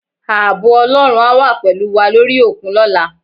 Ààbò Ọlọ́run á wà pẹ̀lú wà lórí òkun lọ́la